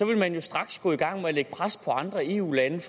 man jo straks gå i gang med at lægge pres på de andre eu lande